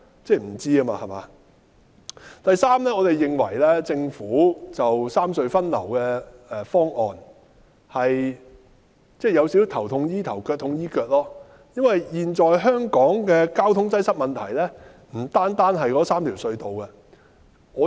再者，我們認為政府就三隧分流的方案有少許"頭痛醫頭，腳痛醫腳"，因為香港現時面對的問題，不單止是那3條隧道出現交通擠塞。